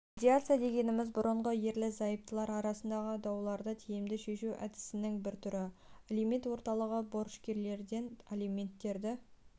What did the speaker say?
медиация дегеніміз бұрынғы ерлі-зайыптылар арасындағы дауларды тиімді шешу әдісінің бір түрі алимент орталығы борышкерлерден алименттерді